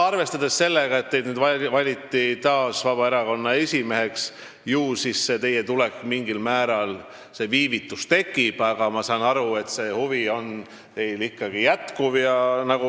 Arvestades sellega, et teid valiti taas Vabaerakonna esimeheks, ju siis mingil määral viivitus tekib, aga ma saan aru, et see huvi teil ikkagi jätkub.